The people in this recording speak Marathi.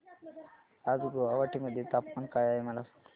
आज गुवाहाटी मध्ये तापमान काय आहे मला सांगा